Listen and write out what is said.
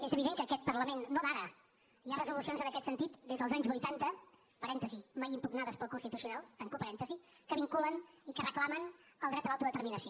és evident que a aquest parlament no d’ara hi ha resolucions en aquest sentit des dels anys vuitanta parèntesi mai impugnades pel constitucional tanco parèntesi que vinculen i que reclamen el dret a l’autodeterminació